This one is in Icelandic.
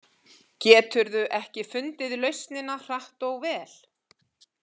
Geturðu ekki fundið lausnina hratt og vel?